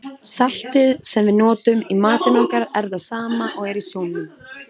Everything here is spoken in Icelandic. Saltið sem við notum í matinn okkar er það sama og er í sjónum.